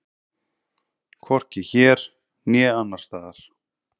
Hvorki hér né annars staðar.